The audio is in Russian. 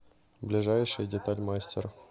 ближайший деталь мастер